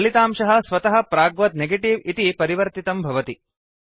फलितांशः स्वतः प्राग्वत् नेगेटिव इति परिवर्तितं भवति